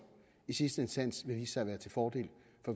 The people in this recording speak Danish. i sidste instans vil vise sig være til fordel